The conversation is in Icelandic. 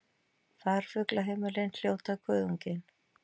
Farfuglaheimilin hljóta Kuðunginn